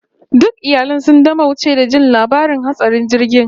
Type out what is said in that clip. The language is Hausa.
Duk iyalai sun dimauce da jin labarin hatsarin jirgin